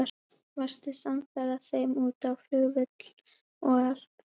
Varstu samferða þeim út á flugvöll og allt?